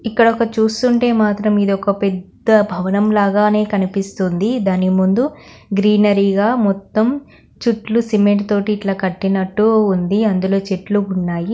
ఇక్కడ ఒకటి చూస్తుంటే మాత్రం ఇది ఒక పెద్ద భవనం లాగానే కనిపిస్తోంది దాని ముందు గ్రీనరీ గా మొత్తం చుట్లు సిమెంట్ తోటి ఇట్లా కట్టినట్టు ఉంది అందులో చెట్లు ఉన్నాయి.